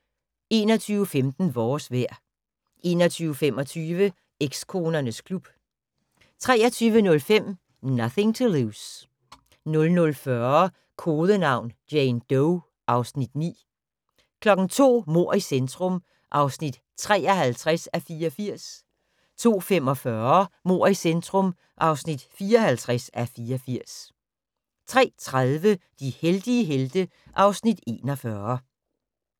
21:15: Vores vejr 21:25: Ekskonernes klub 23:05: Nothing to Lose 00:40: Kodenavn: Jane Doe (Afs. 9) 02:00: Mord i centrum (53:84) 02:45: Mord i centrum (54:84) 03:30: De heldige helte (Afs. 41)